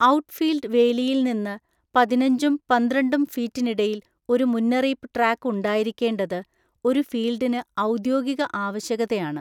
Outfield വേലിയിൽ നിന്ന് പതിനഞ്ചും പന്ത്രണ്ടും ഫീറ്റിനിടയിൽ ഒരു മുന്നറിയിപ്പ് ട്രാക്ക് ഉണ്ടായിരിക്കേണ്ടത് ഒരു ഫീൽഡിന് ഔദ്യോഗിക ആവശ്യകതയാണ്.